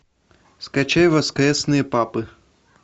скачай воскресные папы